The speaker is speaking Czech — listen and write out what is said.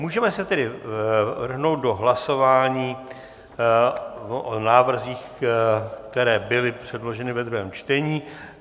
Můžeme se tedy vrhnout do hlasování o návrzích, které byly předloženy ve druhém čtení.